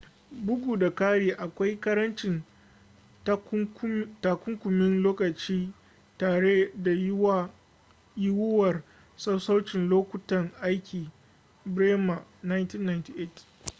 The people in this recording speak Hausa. bugu da kari akwai karancin takunkumin lokaci tare da yiwuwar sassaucin lokutan aiki. bremer 1998